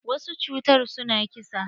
Wasu cutar su na ƙisa.